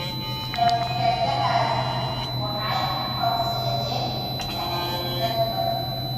Rabshadahaasi waxay horseedeen tahriib dad badan.